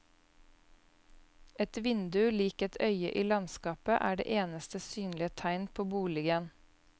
Et vindu lik et øye i landskapet er det eneste synlige tegn på boligen.